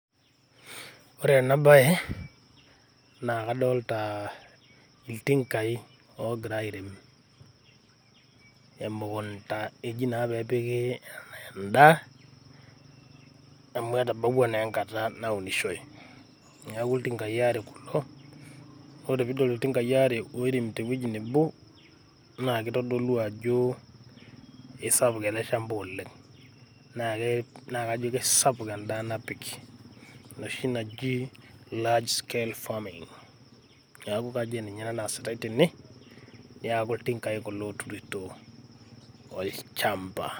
Ore ena baye naa kadolita iltingai oogira airem emekunta eji naa pee epiki en`daa amu etabawua naa enkata naunishoi. Niaku iltingai aare kulo, naa ore pee idol iltinkai aare oiremito ewueji nebo naa kitodolu ajo keisapuk ele chamba oleng. Naa kei , naa keisapuk en`daa napiki enoshi naji large scale farming. Niaku kajo keninye ena naasitai tene, niaku iltingai kulo oiremito olchamba.